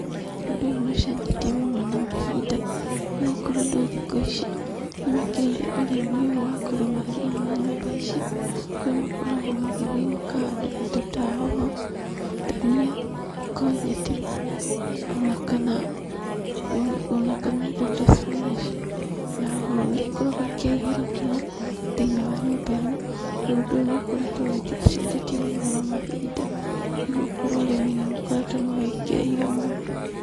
Ũndũ ũyũ nĩ ũcenjetie mũno na mahinda nĩgũkorwo andũ thiku ici nĩmekĩrĩire ũrĩmi ũyũ wa kũrĩmĩra thĩiniĩ wa nyũmba ici, kũrĩa makoragwo magĩthiĩ makahanda indo ta hoho, ndania, ngojeti ona kana, ona kana indo ta spinach na hoho. Nĩ ikoragwo ikĩagĩra mũno thĩiniĩ wa nyũmba ĩno, nondũ ũyũ nĩ ũkoretwo ũgĩthiĩ ũcenjetie mũno na mahinda, nĩgũkorwo arĩmi nĩmakoretwo mawĩkĩrĩire mũno.